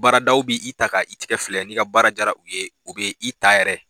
Baaradaw bɛ i ta ka i tɛgɛ filɛ n'i ka baara diyara u ye u bɛ i ta yɛrɛ